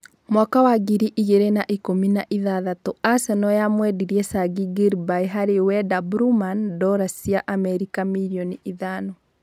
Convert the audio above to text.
Mwaka wa ngiri igĩrĩ na ikũmi na-ithathatũ Aseno yamwendirie Changi Gilby harĩ Wenda Blueman ndora cia Amerika mirioni ithano.